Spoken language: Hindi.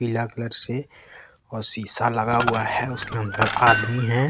पीला कलर से और शीशा लगा हुआ है उसके अंदर आदमी हैं।